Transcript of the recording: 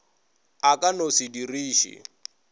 a ka no se diriše